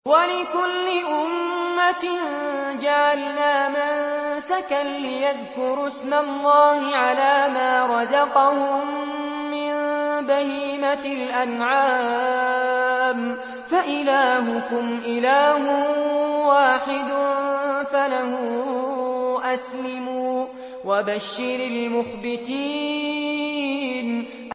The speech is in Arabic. وَلِكُلِّ أُمَّةٍ جَعَلْنَا مَنسَكًا لِّيَذْكُرُوا اسْمَ اللَّهِ عَلَىٰ مَا رَزَقَهُم مِّن بَهِيمَةِ الْأَنْعَامِ ۗ فَإِلَٰهُكُمْ إِلَٰهٌ وَاحِدٌ فَلَهُ أَسْلِمُوا ۗ وَبَشِّرِ الْمُخْبِتِينَ